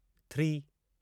three